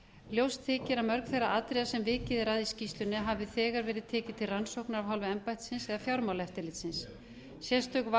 ljóst þykir að mörg þeirra atriða sem vikið er að í skýrslunni hafi þegar verið tekið til rannsókna af hálfu embættisins eða fjármálaeftirlitsins sérstök athygli